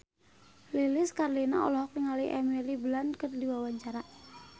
Lilis Karlina olohok ningali Emily Blunt keur diwawancara